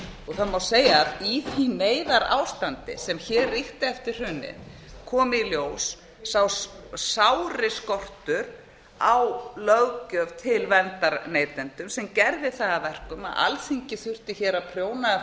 það má segja að í því neyðarástandi sem hér ríkti eftir hrunið kom í ljós sá sári skortur á löggjöf til verndar neytendum sem gerði það að verkum að alþingi þurfti hér að prjóna